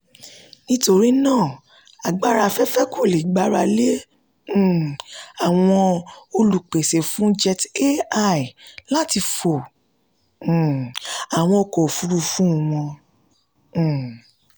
nítorí náà agbára afẹ́fẹ́ kò le gbára lé um àwọn olùpèsè fún jet a one láti fo um àwọn ọkọ̀ òfúrufú wọn. um